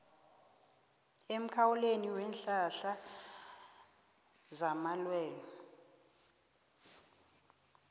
emkhawulweni weenhlahla zamalwelwe